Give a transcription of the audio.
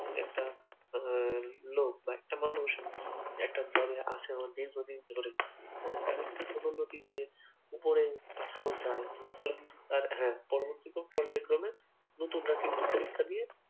যে একটা উম লোক বা একটা মানুষ একটা যবের আশায় আছে দীর্ঘদিন ধরে হ্যান তাদের কিন্তু পদোন্নতি দিয়ে উপরে পাঠানো যায় ফলে কিন্তু তার হ্যা পরবর্তিকেও পর্যায়ক্রমে নতুনরা কিন্তু পরীক্ষা দিয়ে